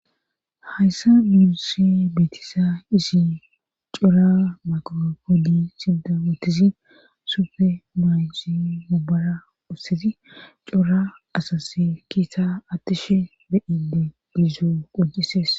Hayssa muunise beetisa isi cora maqo kodi sinda wottisi sufe maaysi mubora ussizi cora asase kiisa attishe beyide gizzo qocises.